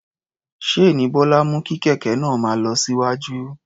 Ṣéènì Bọ́lá mú kí kẹ̀kẹ́ náà máa lọ síwájú.